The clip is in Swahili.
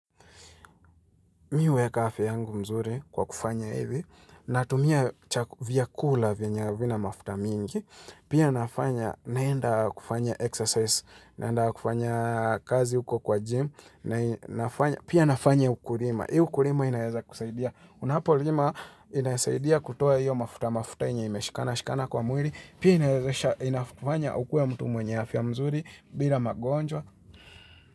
Mihueka afya yangu mzuri kwa kufanya hivi, natumia chakula vyenye havina mafuta mingi, pia nafanya naenda kufanya exercise, naenda kufanya kazi huko kwa gym, pia nafanya ukulima. Hii ukulima inaiza kusaidia. Unapolima inaisaidia kutoa hiyo mafuta mafuta yenyeimeshikana kwa mwili, pia inaiza kufanya ukue mtu mwenye afya mzuri, bila magonjwa.